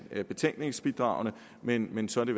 af betænkningsbidraget men men så er det